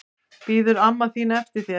Bíður amma þín eftir þér?